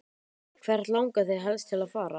Hvert langar þig helst til að fara?